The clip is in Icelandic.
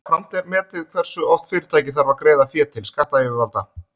Jafnframt er metið hversu oft fyrirtækið þarf að greiða fé til skattayfirvalda.